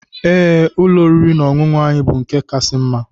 Ee, ụlọ oriri na ọṅụṅụ anyị bu nke kasị mma.